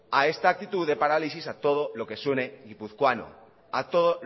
a esta actitud de parálisis a todo lo que suene guipuzcoano a todo